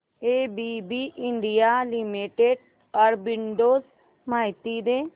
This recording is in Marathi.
एबीबी इंडिया लिमिटेड आर्बिट्रेज माहिती दे